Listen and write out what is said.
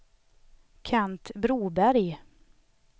Kent Broberg